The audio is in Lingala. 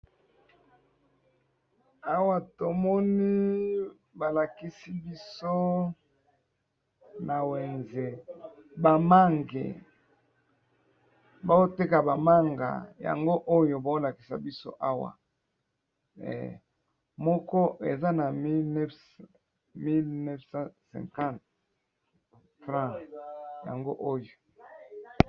Awa namoni balakisi biso ezanakati ya wenze namoni bazo tekisa ba mange batiye yango likolo ya mesa